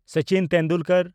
Sachin Tendulkar